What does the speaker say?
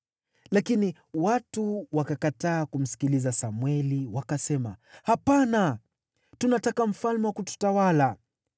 Lakini watu wakakataa kumsikiliza Samweli wakasema, “Hapana! Tunataka mfalme wa kututawala.